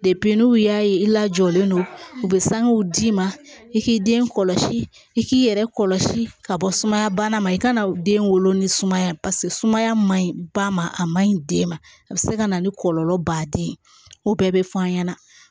n'u y'a ye i lajɔlen don u bɛ sanguw d'i ma i k'i den kɔlɔsi i k'i yɛrɛ kɔlɔsi ka bɔ sumaya bana ma i ka na den wolo ni sumaya sumaya ma ɲi ba ma a man ɲi den ma a bɛ se ka na ni kɔlɔlɔ baden ye o bɛɛ bɛ f'a ɲɛna